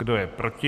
Kdo je proti?